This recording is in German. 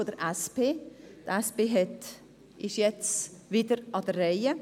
Die SP ist jetzt wieder an der Reihe.